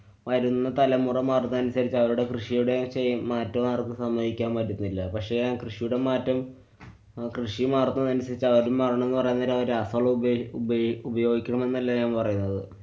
വരുന്ന തലമുറ മാറുന്നതിനനുസരിച്ച് അവരുടെ കൃഷിയുടെ മറ്റു ആര്‍ക്കും സമ്മതിക്കാന്‍ പറ്റുന്നില്ല. പക്ഷെ ആ കൃഷിയുടെ മാറ്റം, അഹ് കൃഷി മാറുന്നതനുസരിച്ച് അവരും മാരണംന്നു പറയാന്‍ നേരം അവര് രാസവളം ഉപയേഗി~ ഉപേയി~ ഉപയോഗിക്കണമെന്നല്ല ഞാന്‍ പറയുന്നത്.